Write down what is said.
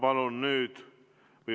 Aitäh!